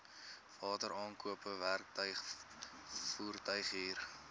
wateraankope werktuig voertuighuur